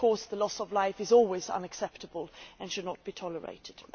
Of course, loss of life is always unacceptable and should not be tolerated.